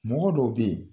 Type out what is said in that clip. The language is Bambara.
Mɔgɔ dɔw be yen